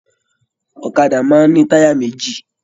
Ọ̀kàdà máa n ni taya méjì.